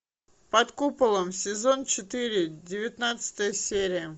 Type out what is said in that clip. под куполом сезон четыре девятнадцатая серия